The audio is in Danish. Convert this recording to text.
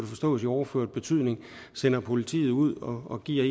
forstås i overført betydning sender politiet ud og giver